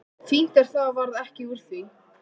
Fínt að það varð ekki úr því.